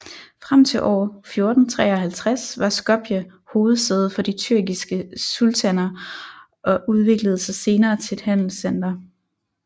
Frem til år 1453 var Skopje hovedsæde for de tyrkiske sultaner og udviklede sig senere til et handelscenter